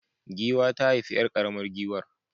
Giwa ta haifi 'yar karamar giwar